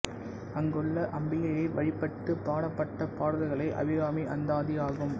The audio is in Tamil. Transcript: அங்குள்ள அம்பிகையை வழிபட்டுப் பாடப்பட்ட பாடல்களே அபிராமி அந்தாதி ஆகும்